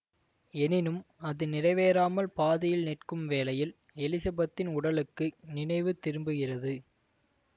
எனினும் அது நிறைவேறாமால் பாதியில் நிற்கும் வேளையில் எலிசபெத்தின் உடலுக்கு நினைவு திரும்புகிறது